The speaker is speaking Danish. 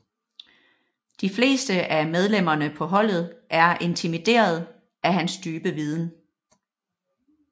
De fleste af medlemmerne på holdet er intimideret af hans dybe viden